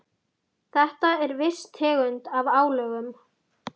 Þetta er viss tegund af álögum.